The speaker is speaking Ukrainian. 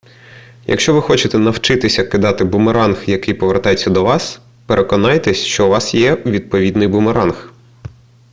якщо ви хочете навчитися кидати бумеранг який повертається до вас переконайтеся що у вас є відповідний бумеранг